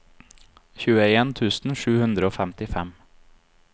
tjueen tusen sju hundre og femtifem